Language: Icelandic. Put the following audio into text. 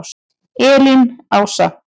Elín Ása.